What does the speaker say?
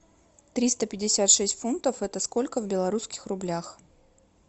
триста пятьдесят шесть фунтов это сколько в белорусских рублях